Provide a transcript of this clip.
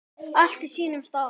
Allt á sínum stað.